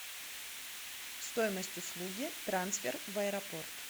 стоимость услуги трансфер в аэропорт